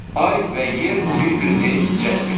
Ay və yer bir-birini cəzb edir.